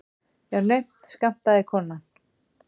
Já, naumt skammtaði konan.